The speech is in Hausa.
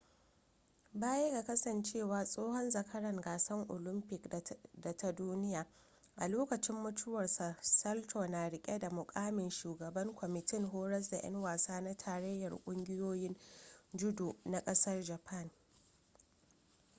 baya ga kasancewa tsohon zakaran gasar olamfik da ta duniya a lokacin mutuwarsa salto na rike da mukamin shugaban kwamitin horas da 'yan wasa na tarayyar ƙungiyoyin judo na kasar japan